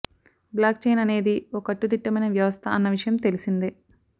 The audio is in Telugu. బ్లాక్ చెయిన్ అనేది ఓ కట్టుదిట్టమైన వ్యవస్థ అన్న విషయం తెలిసిందే